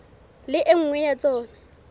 le e nngwe ya tsona